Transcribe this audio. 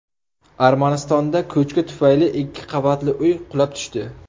Armanistonda ko‘chki tufayli ikki qavatli uy qulab tushdi.